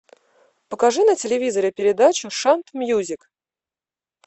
покажи на телевизоре передачу шант мьюзик